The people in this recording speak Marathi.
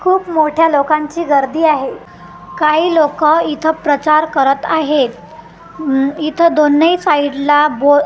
खूप मोठ्या लोकांची गर्दी आहे काही लोक इथं प्रचार करत आहेत इथे दोन्ही साईडला बो--